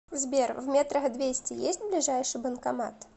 сбер в метрах двести есть ближайший банкомат